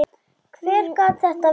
Hver gat þetta verið?